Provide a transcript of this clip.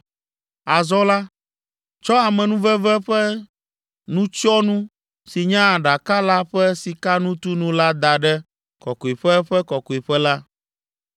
“Azɔ la, tsɔ amenuveve ƒe nutsyɔnu si nye Aɖaka la ƒe sikanutunu la da ɖe Kɔkɔeƒe Ƒe Kɔkɔeƒe la.